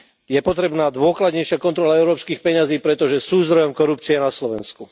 Je potrebná dôkladnejšia kontrola európskych peňazí, pretože sú zdrojom korupcie na Slovensku.